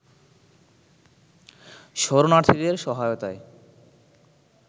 শরণার্থীদের সহায়তায়